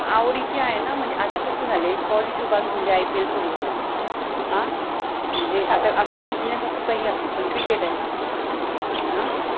आवडिचि आहे न मनजे आता कस झालय positive बाजु म्हणजे IPL सुरु झालय अ म्हणजे आता असो BUSINESS असो किंवा काय पण असो पन cricket आहे, अ